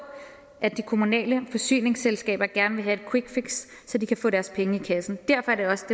at de kommunale forsyningsselskaber gerne vil have et quickfix så de kan få deres penge i kassen derfor er det også